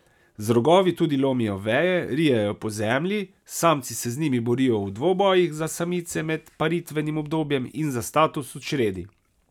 Z rogovi tudi lomijo veje, rijejo po zemlji, samci se z njimi borijo v dvobojih za samice med paritvenim obdobjem in za status v čredi.